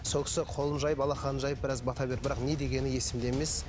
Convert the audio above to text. сол кісі қолын жайып алақанын жайып біраз бата берді бірақ не дегені есімде емес